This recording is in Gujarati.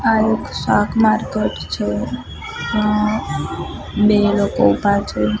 આ એક શાક માર્કેટ છે અં બે લોકો ઉભા છે.